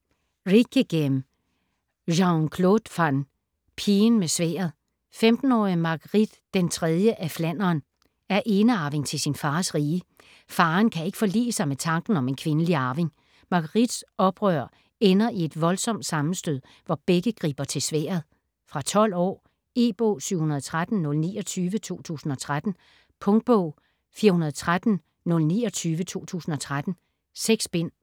Rijckeghem, Jean-Claude van: Pigen med sværdet 15-årige Marguerite den III af Flandern er enearving til sin fars rige. Faderen kan ikke forlige sig med tanken om en kvindelig arving. Marguerites oprør ender i et voldsomt sammenstød, hvor begge griber til sværdet. Fra 12 år. E-bog 713029 2013. Punktbog 413029 2013. 6 bind.